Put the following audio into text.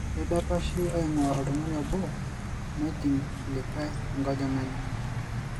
Keidapashi eing'uaa oltung'ani obo nejing' likae enkojong'ani.